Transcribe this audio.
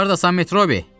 Hardasan, Metrobi?